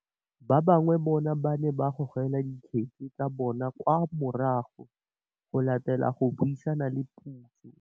Ba bangwe bona ba ne ba gogela dikgetse tsa bona kwa morago go latela go buisana le puso.